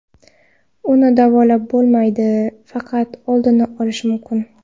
Uni davolab bo‘lmaydi, faqat oldini olish mumkin.